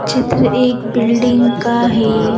चित्र एक बिल्डिंग का है।